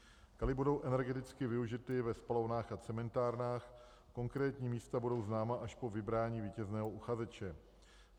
Kaly budou energeticky využity ve spalovnách a cementárnách, konkrétní místa budou známa až po vybrání vítězného uchazeče.